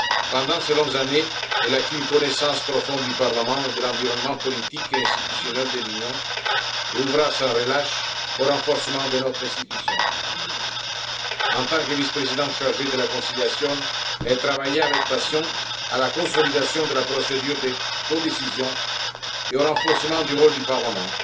Pendant ces longues années, elle a acquis une connaissance profonde du Parlement et de l'environnement politique et institutionnel de l'Union et a œuvré sans relâche au renforcement de notre institution. En tant que vice présidente chargée de la conciliation, elle travailla avec passion à la consolidation de la procédure de codécision et au renforcement du rôle du Parlement.